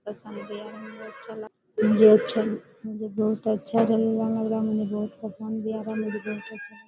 पसंद भी आ रहा मुझे अच्छा जो मुझे अच्छा मुझे बहोत बहोत पसंद भी आ रहा मुझे बहोत अच्छा लग--